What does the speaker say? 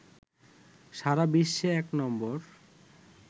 সারা বিশ্বে এক নম্বর